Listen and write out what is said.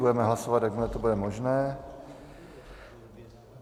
Budeme hlasovat, jakmile to bude možné.